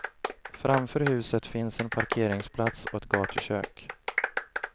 Framför huset finns en parkeringsplats och ett gatukök.